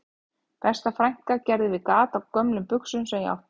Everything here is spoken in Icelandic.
Besta frænka gerði við gat á gömlum buxum sem ég átti